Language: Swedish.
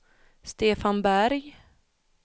Stefan Berg